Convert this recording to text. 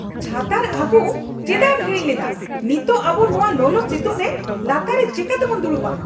ᱪᱷᱟᱛᱟᱨ ᱟᱜᱩ ᱪᱮᱫᱟᱜ ᱮᱢ ᱦᱤᱲᱤᱧ ᱞᱮᱫᱟ ? ᱱᱤᱛᱚᱜ ᱟᱵᱩ ᱱᱚᱶᱟ ᱞᱚᱞᱚ ᱥᱤᱛᱩᱝᱨᱮ ᱞᱟᱛᱟᱨ ᱨᱮ ᱪᱮᱠᱟ ᱛᱮᱵᱚᱱ ᱫᱩᱲᱩᱵᱼᱟ ?